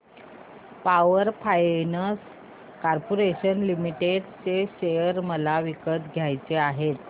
power finance corporation limited share मला विकत घ्यायचे आहेत